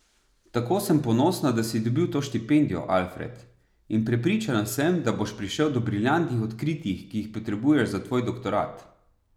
Tako sem ponosna, da si dobil to štipendijo, Alfred, in prepričana sem, da boš prišel do briljantnih odkritij, ki jih potrebuješ za tvoj doktorat.